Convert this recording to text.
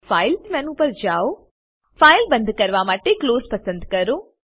file menu પર જાઓ file બંદ કરવા માટે ક્લોઝ પસંદ કરો